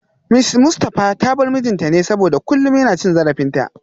Mrs Mustafa ta bar mijinta ne saboda kullum yana cin zarafinta